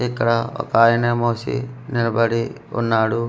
ఇక్కడ ఒక ఆయన మోసి నిలబడి ఉన్నాడు.